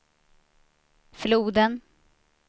floden